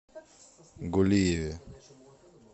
гулиеве